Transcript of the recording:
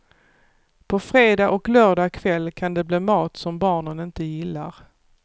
På fredag och lördag kväll kan det bli mat som barnen inte gillar.